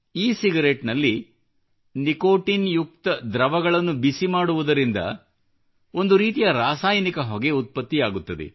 E cigarette ನಲ್ಲಿ nicotine ಯುಕ್ತ ದ್ರವಗಳನ್ನು ಬಿಸಿ ಮಾಡುವುದರಿಂದ ಒಂದು ರೀತಿಯ ರಾಸಾಯನಿಕ ಹೊಗೆ ಉತ್ಪತ್ತಿಯಾಗುತ್ತದೆ